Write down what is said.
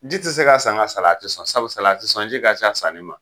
Ji tɛ se ka san ka salati sɔn sabu salati sɔn ji ka ca san nin ma.